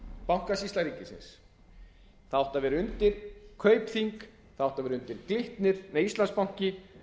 bankasýsla ríkisins það átti að vera undir kaupþing ætti að vera undir glitnir íslandsbanki